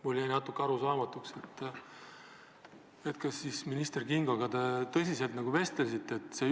Mulle jäi natuke arusaamatuks, kas te siis minister Kingoga tõsiselt vestlesite või mitte.